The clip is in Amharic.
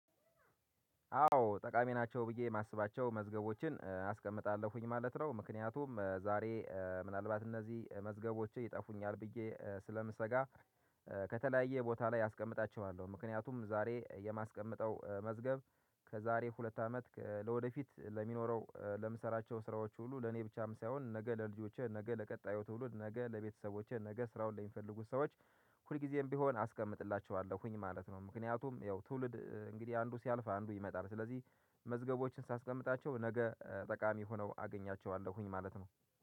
አዎ ጠቃሚ ናቸው ብዬ የማስባቸው መዝገቦችን አስቀምጣለሁኝ ማለት ነው ምክንያቱም ዛሬ ምናልባት እነዚህ መዝገቦችን ይጠፉኛል ብዬ ስለምሰጋ። ከተለያየ ቦታ ላይ አስቀምጣችኋለሁ ምክንያቱም ዛሬ የማስቀመጠው መዝገብ ከዛሬ ሁለት አመት ለወደፊት ለሚኖረው ለምሰራቸው ስራዎች ሁሉ ለኔ ብቻም ሳይሆን ነገ ለልጆችህ ነገ ለቀጣዩ ትውሉድ ነገ ለቤተሰቦችህ ነገ ስራውን ለሚፈልጉት ሰዎች ሁልጊዜም ቢሆን አስቀምጥላቸዋለሁኝ ማለት ነው። ምክንያቱም ያው ትውልድ እንግዲህ አንዱ ሲያልፍ አንዱ ይመጣል ስለዚህ መዝገቦችን ሳስቀምጣቸው ነገ ጠቃሚ ሆነው አገኛቸዋለሁኝ ማለት ነው